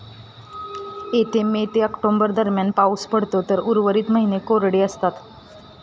येथे मे ते ऑक्टोबर दरम्यान पाऊस पडतो तर उर्वरित महिने कोरडे असतात.